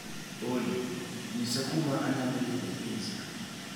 Olly, nyisa kuma anyalo yude pizza